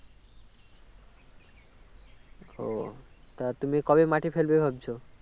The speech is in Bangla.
ও তা তুমি কবে মাটি ফেলবে ভাবছো